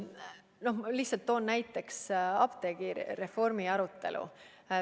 Ma toon näiteks apteegireformi arutelu.